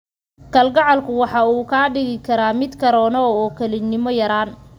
Kalgacalku waxa uu kaa dhigi karaa mid ka roonow oo kelinimo yaraan.